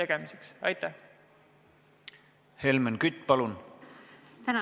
Helmen Kütt, palun!